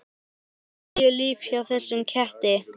Engin níu líf hjá þessum ketti.